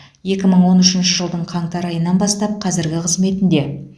екі мың он үшінші жылдың қаңтар айынан бастап қазіргі қызметінде